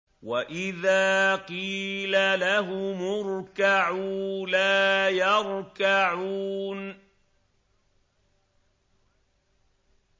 وَإِذَا قِيلَ لَهُمُ ارْكَعُوا لَا يَرْكَعُونَ